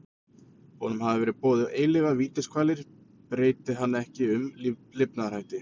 Honum hafa verið boðaðar eilífar vítiskvalir breyti hann ekki um lifnaðarhætti.